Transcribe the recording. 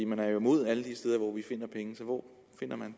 man er jo imod alle de steder hvor vi finder pengene hvor vil man